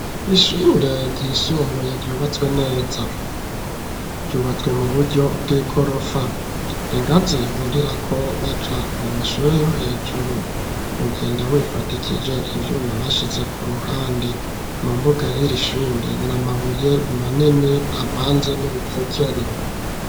Ishure ryisumbuye ryubatswe neza. Ryubatswe mu buryo bw'igorofa. Ingazi burirako baja mu mashure yo hejuru. Ugenda wifadikije ivyuma bashize ku ruhande. Mu mbuga y'iri shure ni amabuye manini avanze n'urucekeri.